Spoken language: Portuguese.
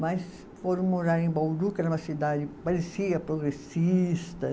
Mas foram morar em Bauru, que era uma cidade que parecia progressista.